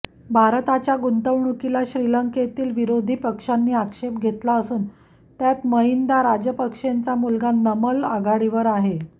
भारताच्या गुंतवणुकीला श्रीलंकेतील विरोधी पक्षांनी आक्षेप घेतला असून त्यात महिंदा राजपक्षेंचा मुलगा नमल आघाडीवर आहे